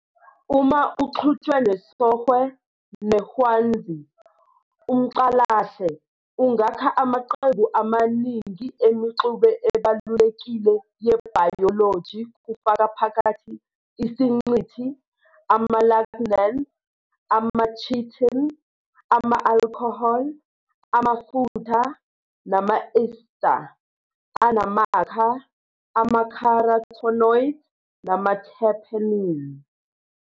Uma uxutshwe nesOhwe neHwanzi, umCalahle ungakha amaqembu amaningi eMixube ebalulekile yebhayoloji kufaka phakathi isiNcithi, ama-lignans, ama-chitin, ama-alcohol, amafutha, nama-ester anamakha, ama-carotenoids nama-terpenes.